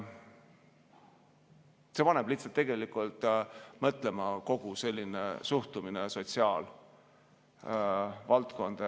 See paneb lihtsalt mõtlema, kogu selline suhtumine sotsiaalvaldkonda.